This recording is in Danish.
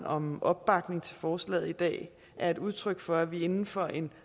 om opbakning til forslaget i dag er et udtryk for at vi inden for en